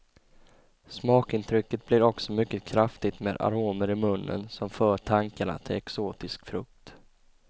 Smakintrycket blir också mycket kraftigt med aromer i munnen som för tankarna till exotisk frukt.